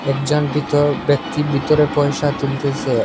একজন ভিত ব্যক্তি ভিতরে পয়সা তুলতেসে।